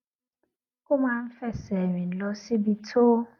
ó máa ń fẹsè rìn lọ síbi tó